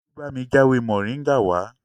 Olú bámi já ewé moringa wá